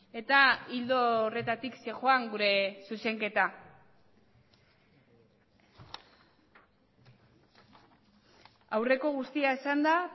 eta ildo horretatik zihoan gure zuzenketa aurreko guztia esanda